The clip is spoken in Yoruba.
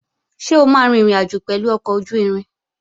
Ṣé o máa rin ìrìnàjò pẹ̀lú ọkọ̀ ojú-irin?